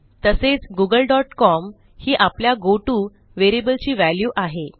तसेच Google dot com ही आपल्या गोटो व्हेरिएबलची व्हॅल्यू आहे